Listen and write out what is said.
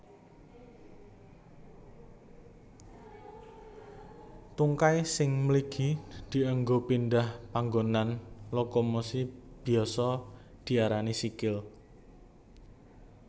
Tungkai sing mligi dianggo pindhah panggonan lokomosi biasa diarani sikil